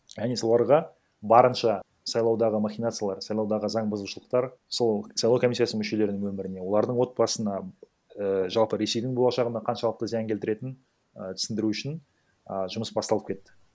яғни соларға барынша сайлаудағы махинациялар сайлаудағы заң бұзушылықтар сол сайлау комиссиясының мүшелерінің өміріне олардың отбасына ііі жалпы ресейдің болашағына қаншалықты зиян келтіретінін і түсіндіру үшін а жұмыс басталып кетті